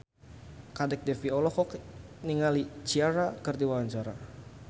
Kadek Devi olohok ningali Ciara keur diwawancara